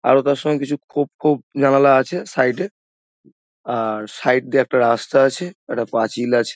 আরও তার সঙ্গে কিছু খোপ খোপ জানালা আছে সাইড -এ আর সাইড দিয়ে একটা রাস্তা আছে একটা পাঁচিল আছে।